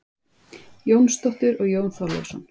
Jónsdóttur og Jón Þorleifsson.